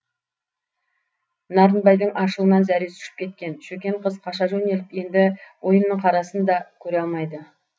нарынбайдың ашуынан зәресі ұшып кеткен шөкен қыз қаша жөнеліп енді ойынның қарасын да көре алмайды